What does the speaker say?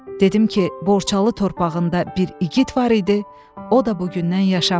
Dedim ki, Borçalı torpağında bir igid var idi, o da bu gündən yaşamır.